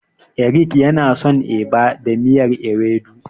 Eric yana son Eba da miyar Ewedu.